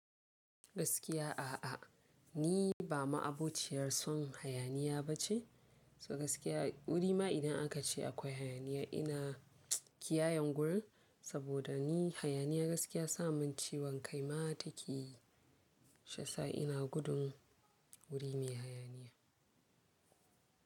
Gaskiya a'a, ni ba ma'abociyar son hayaniya ba ce. To gaskiya, wuri ma idan aka ce akwai hayaniya ina kiyayan wurin, saboda ni hayaniya gaskiya sa mun ciwon kai ma ta ke yi, shiyasa ina gudun wuri mai hayaniya.